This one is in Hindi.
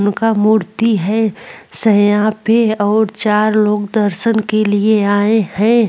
उनका मूर्ति है सैयां पे और चार लोग दर्शन के लिए आए हैं।